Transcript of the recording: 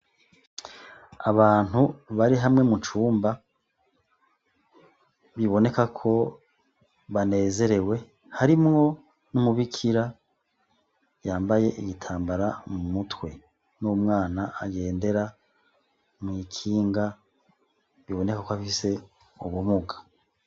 Abantu barikumwe mucumba biboneka ko banezerewe, harimwo n'umubikira yambaye igitambara mumutwe n'umwana agendera mw'ikinga biboneka ko afise ubumuga.